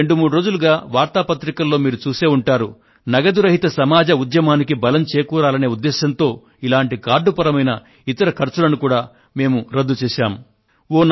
గత రెండు మూడు రోజులుగా వార్తా పత్రికలలో మీరు చూసే ఉంటారు నగదు రహిత సమాజ ఉద్యమానికి బలం చేకూరాలనే ఉద్దేశంతో ఇలాంటి కార్డుపరమైన ఇతర ఖర్చులను కూడా మేము రద్దు చేశాము